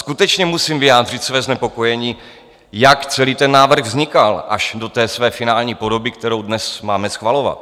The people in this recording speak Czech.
Skutečně musím vyjádřit své znepokojení, jak celý ten návrh vznikal až do té své finální podoby, kterou dnes máme schvalovat.